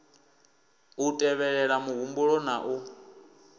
u tevhelela muhumbulo na u